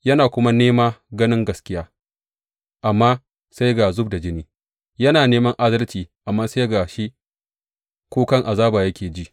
Yana kuma nema ganin gaskiya, amma sai ga zub da jini; yana neman adalci, amma sai ga shi kukan azaba yake ji.